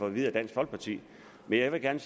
at vide af dansk folkeparti men jeg vil gerne